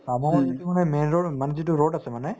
অ, মই যিটো মানে মানে যিটো road আছে মানে